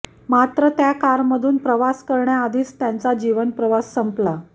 मात्र त्या कारमधून प्रवास करण्याआधीच त्यांचा जीवनप्रवास संपला